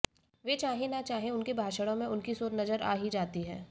वे चाहे न चाहे उनके भाषणों में उनकी सोच नजर आ ही जाती है